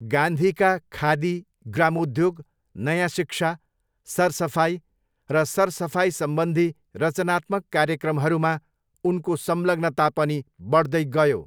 गान्धीका खादी, ग्रामोद्योग, नयाँ शिक्षा, सरसफाइ र सरसफाइसम्बन्धी रचनात्मक कार्यक्रमहरूमा उनको संलग्नता पनि बढ्दै गयो।